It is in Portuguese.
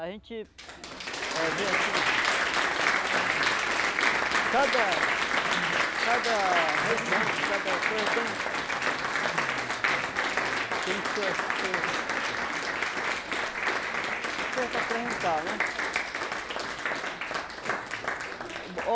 A gente eh vê assim... Cada... Cada região, cada coisa tem... Tem suas seus... As coisas para apresentar, né?